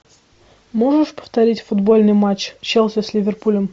можешь повторить футбольный матч челси с ливерпулем